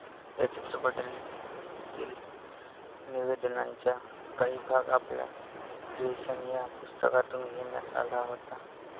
या चित्रपटातील निवेदनाचा काही भाग आपल्या क्रिएशन या पुस्तकातून घेण्यात आला होता.